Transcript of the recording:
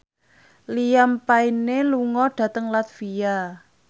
Liam Payne lunga dhateng latvia